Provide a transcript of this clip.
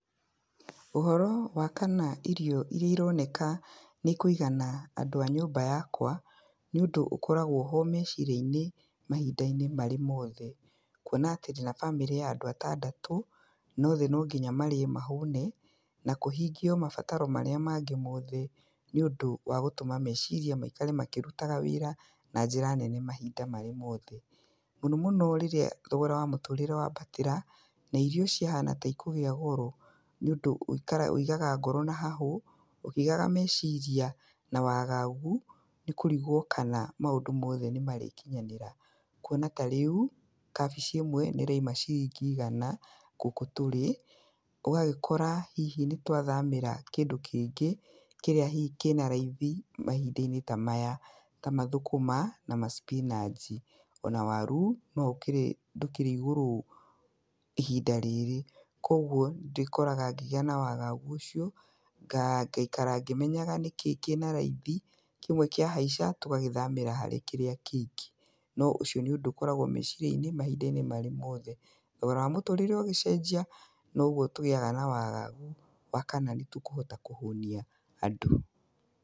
Ũhoro wa kana irio iria ironeka kana nĩ cikũigana andũ a nyũmba yakwa, nĩ ũndũ ũkoragwo-ho meciria-inĩ mahinda-inĩ marĩ mothe, kuona atĩ ndĩna bamĩrĩ ya andũ atandatũ, na othe nonginya marĩe mahũne, na kũhingio mabataro marĩa mangĩ mothe nĩũndũ ya gũtũma meciria maikare makĩrutaga wĩra, na njĩra nene mahinda mothe. Mũno mũno rĩrĩa thogora wa mũtũrĩre wambatĩra, na irio ciahana taciagĩa goro, nĩ ũndũ ũigaga ngoro na hahũ, ũkĩigaga meciria na wagagu, nĩkũrigwo kana maũndũ mothe nĩmarĩkinyanĩra. Kwona tarĩu, kabici ĩmwe nĩ ĩrauma ciringi igana gũkũ tũrĩ, ũgagĩkora nĩ twathamĩra kĩndũ kĩngĩ kĩrĩa hihi kĩnaraithi, mahinda-inĩ tamaya, hihi ta thũkũma, kana spinanch. Ona waru ndũkĩrĩ igũrũ ihinda rĩrĩ, koguo nĩ ndĩkoraga ndĩna wagagu ũcio, ndaikara ngĩmenyaga nĩkĩĩ kĩnaraithi, kĩmwe kĩahaica, tũgagĩthamĩra harĩ kĩrĩa kĩngĩ. No nĩ ũndũ ũkoragwo meciria-inĩ, mahinda marĩ mothe. Thogora wa mũtũrĩre ũgĩcenjia, noguo tũkoragwo na wagagu wa kana nĩtũkũhota kũhũnia andũ.